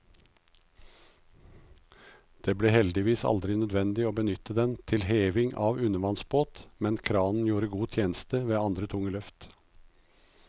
Det ble heldigvis aldri nødvendig å benytte den til heving av undervannsbåt, men kranen gjorde god tjeneste ved andre tunge løft.